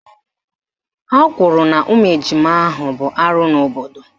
Ha kwuru na ụmụ ejima ahụ bụ arụ n'obodo